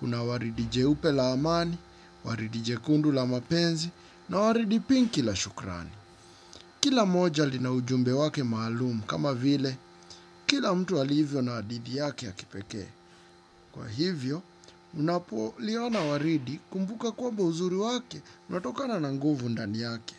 Kuna waridi jeupe la amani, waridi jekundu la mapenzi na waridi pinki la shukrani. Kila moja lina ujumbe wake maalum kama vile kila mtu alivyo na hadithi yake ya kipekee. Kwa hivyo unapo liona waridi kumbuka kwamba uzuri wake unatokana na nguvu ndani yake.